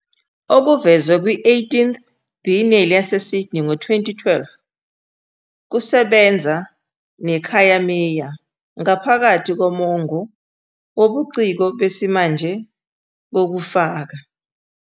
okuvezwe kwi-18th Biennale yaseSydney ngo-2012, kusebenza neKhayamiya ngaphakathi komongo wobuciko besimanje bokufaka.